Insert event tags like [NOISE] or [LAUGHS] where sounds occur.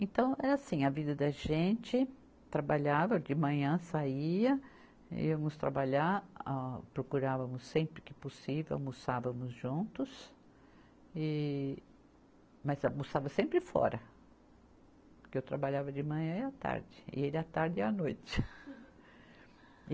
Então, é assim, a vida da gente, trabalhava, de manhã saía, íamos trabalhar, ah, procurávamos sempre que possível, almoçávamos juntos, e mas almoçava sempre fora, porque eu trabalhava de manhã e à tarde, e ele à tarde e à noite. [LAUGHS]